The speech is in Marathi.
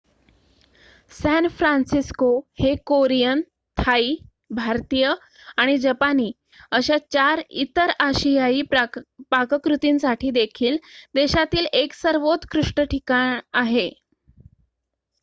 सॅन फ्रान्सिस्को हे कोरियन थाई भारतीय आणि जपानी अशा इतर आशियाई पाककृतींसाठी देखील देशातील 1 सर्वोत्कृष्ट ठिकाण आहे